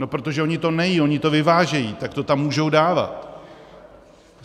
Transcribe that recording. No protože oni to nejedí, oni to vyvážejí, tak to tam můžou dávat.